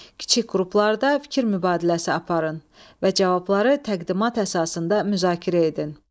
Kiçik qruplarda fikir mübadiləsi aparın və cavabları təqdimat əsasında müzakirə edin.